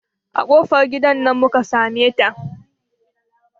A kofar gidan nan muka sameta.